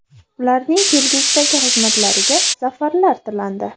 Ularning kelgusidagi xizmatlariga zafarlar tilandi.